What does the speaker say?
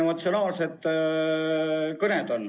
Väga emotsionaalsed kõned.